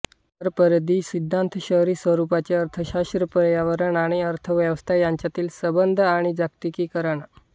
कोरपरिधि सिद्धांत शहरी स्वरूपाचे अर्थशास्त्र पर्यावरण आणि अर्थव्यवस्था यांच्यातील संबंध आणि जागतिकीकरण